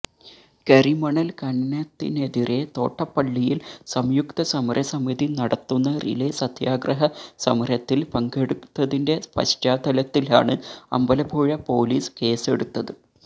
കരിമണല് ഖനനത്തിനെതിരെ തോട്ടപ്പള്ളിയില് സംയുക്ത സമരസമിതി നടത്തുന്ന റിലേ സത്യാഗ്രഹ സമരത്തില് പങ്കെടുത്തതിന്റെ പശ്ചാത്തലത്തിലാണ് അമ്പലപ്പുഴ പോലീസ് കേസെടുത്തത്